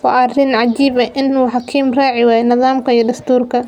Waa arin cajib eh in uu hakim raaciwayo nadhamka iyo dasturka.